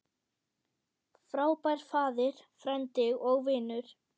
Frábær faðir, frændi og vinur.